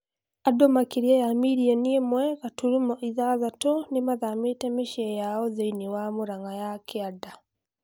Andu makĩria ya mirioni ĩmwe gaturumo ithathatũ nĩmathamĩte mĩciĩ yao thĩini wa Mũrang'a ya kĩanda